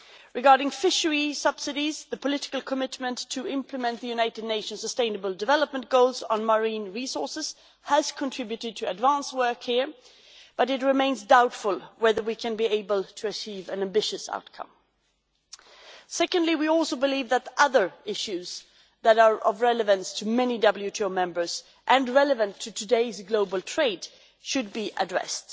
Regarding fishery subsidies, the political commitment to implement the United Nations' Sustainable Development Goals on marine resources has contributed to advance work here, but it remains doubtful whether we can be able to achieve an ambitious outcome. Secondly, we also believe that other issues that are of relevance to many WTO members and relevant to today's global trade should be addressed.